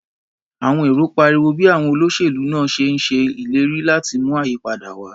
Àwọn èrò pariwo bí àwọn olóṣèlú náà ṣe ń ṣe ìlérí láti mú ayípadà wá.